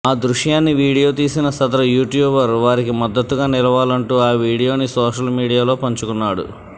ఆ దృశ్యాన్ని వీడియో తీసిన సదరు యూట్యూబర్ వారికి మద్దతుగా నిలవాలంటూ ఆ వీడియోని సోషల్ మీడియాలో పంచుకున్నాడు